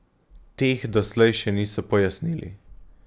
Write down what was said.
Teh doslej še niso pojasnili.